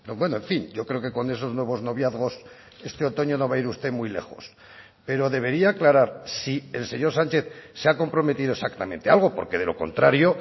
bueno en fin yo creo que con esos nuevos noviazgos este otoño no va a ir usted muy lejos pero debería aclarar si el señor sánchez se ha comprometido exactamente algo porque de lo contrario